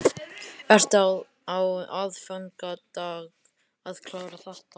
Ertu á aðfangadag að klára þetta?